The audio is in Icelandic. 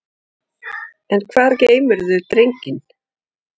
En hvar geymirðu drenginn?